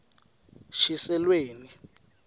shiselweni